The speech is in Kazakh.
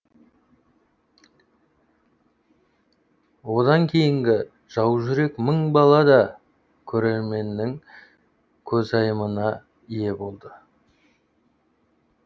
одан кейінгі жаужүрек мың бала да көрерменнің көзайымына ие болды